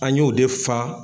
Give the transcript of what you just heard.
An ye o de fa